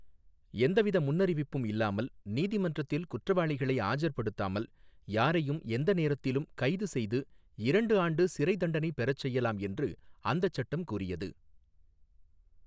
எந்தவித முன்னறிவிப்பும் இல்லாமல் நீதிமன்றத்தில் குற்றவாளிகளை ஆஜர்படுத்தாமல் யாரையும் எந்தநேரத்திலும் கைது செய்து இரண்டு ஆண்டு சிறை தண்டனை பெறச் செய்யலாம் என்று அந்தச் சட்டம் கூறியது.